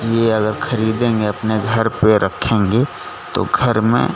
ये अगर खरीदेंगे अपने घर पे रखेंगे तो घर में--